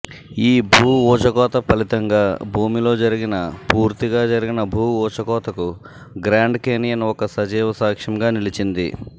ఈ భూఊచకోత ఫలితంగా భూమిలో జరిగిన పూర్తిగా జరిగిన భూఊచకోతకు గ్రాండ్ కేనియన్ ఒక సజీవసాక్ష్యంగా నిలిచింది